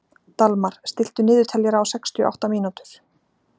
Dalmar, stilltu niðurteljara á sextíu og átta mínútur.